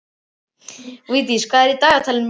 Vildís, hvað er í dagatalinu mínu í dag?